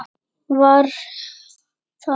Var það hægt?